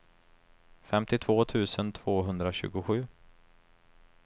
femtiotvå tusen tvåhundratjugosju